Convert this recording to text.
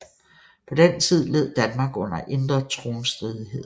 På den tid led Danmark under indre tronstridigheder